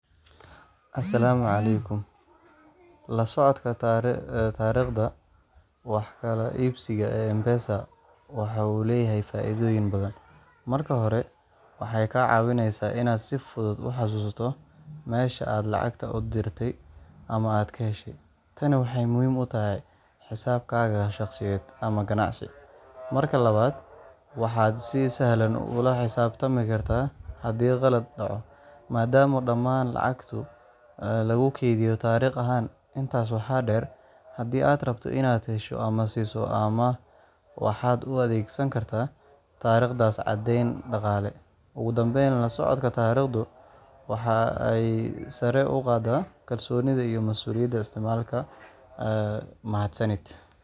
Assalaamu calaykum. La socodka taariikhda wax kala iibsiga ee M-Pesa waxa uu leeyahay faa’iidooyin badan. Marka hore, waxa ay kaa caawinaysaa inaad si fudud u xasuusato meesha aad lacagta u dirtay ama aad ka heshay. Tani waxay muhiim u tahay xisaabaadkaaga shaqsiyeed ama ganacsi. Marka labaad, waxaad si sahlan ula xisaabtami kartaa haddii khalad dhaco, maadaama dhammaan lacagaha lagu kaydiyo taariikh ahaan. Intaas waxaa dheer, haddii aad rabto inaad hesho ama siiso amaah, waxaad u adeegsan kartaa taariikhdaas caddayn dhaqaale. Ugu dambeyn, la socodka taariikhdu waxa ay sare u qaaddaa kalsoonida iyo masuuliyadda isticmaalaha. Mahadsanid